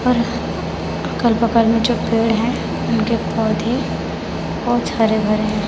और अगल बगल में जो पेड़ है उनके पौधे बहुत से हरे भरे हैं।